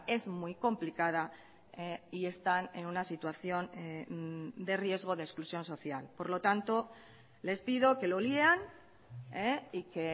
es muy complicada y están en una situación de riesgo de exclusión social por lo tanto les pido que lo lean y que